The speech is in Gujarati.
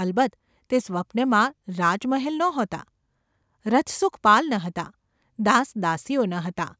અલબત્ત, તે સ્વપ્નમાં રાજમહેલ નહોતા, રથસુખપાલ ન હતાં, દાસ દાસીઓ ન હતાં;